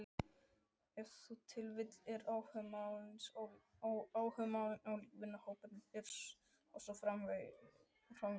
Ef til vill eru áhugamálin ólík, vinahópurinn og svo framvegis.